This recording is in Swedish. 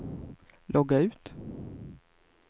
logga ut